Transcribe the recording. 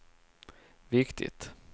viktigt